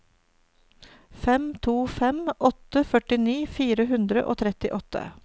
fem to fem åtte førtini fire hundre og trettiåtte